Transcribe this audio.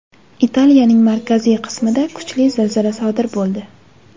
Italiyaning markaziy qismida kuchli zilzila sodir bo‘ldi.